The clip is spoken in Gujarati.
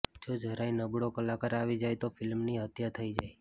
જો જરાય નબળો કલાકાર આવી જાય તો ફિલ્મની હત્યા થઈ જાય